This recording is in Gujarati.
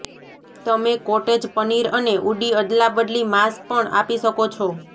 તમે કોટેજ પનીર અને ઉડી અદલાબદલી માંસ પણ આપી શકો છો